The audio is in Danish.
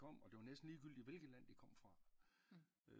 Kom og det var næsten ligegyldigt hvilket land de kom fra